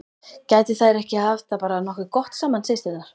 Gætu þær ekki haft það bara nokkuð gott saman, systurnar?